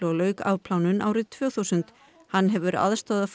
og lauk afplánun árið tvö þúsund hann hefur aðstoðað